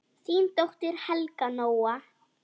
Þín dóttir, Helga Nóa.